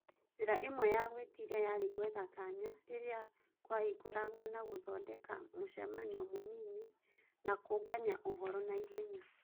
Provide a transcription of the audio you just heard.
Njĩra ĩmwe ya gũĩtiria yarĩ gwetha kanya rĩrĩa kũahingũrwo na gũthondeka mũcemanio mũnini na kũngania ũhoro naihenya.